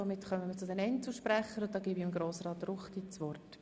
Somit kommen wir zu den Einzelsprechern, und ich erteile Grossrat Ruchti das Wort.